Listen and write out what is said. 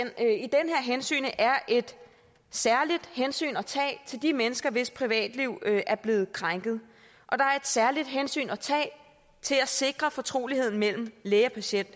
er et særligt hensyn at tage til de mennesker hvis privatliv er blevet krænket og der er et særligt hensyn at tage til at sikre fortroligheden mellem læge og patient